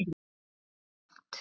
Það er rangt.